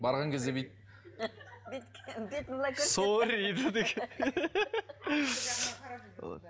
барған кезде бүйтіп